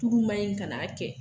Tugu ma ɲin kan'a kɛ.